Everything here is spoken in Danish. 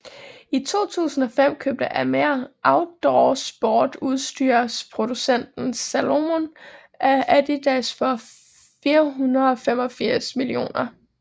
I 2005 købte Amer outdoorsportsudstyrsproducenten Salomon af Adidas for 485 mio